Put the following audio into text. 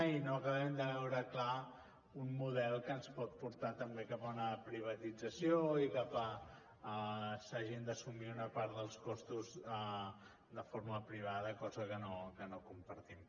i no acabem de veure clar un model que ens pot portar també cap a una privatització i cap a que s’hagin d’assumir una part dels costos de forma privada cosa que no compartim